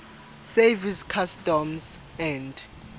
service customs and